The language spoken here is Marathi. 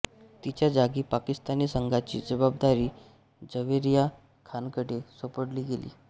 तिच्या जागी पाकिस्तानी संघाची जवाबदारी जव्हेरिया खानकडे सोपवली गेली